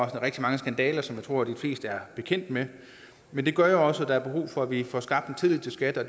rigtig mange skandaler som jeg tror de fleste er bekendt med med det gør jo også at der er brug for at vi får skabt en tillid til skat og